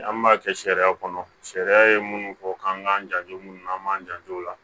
An b'a kɛ sariya kɔnɔ sariya ye munnu fɔ k'an k'an janto minnu na an b'an janto o la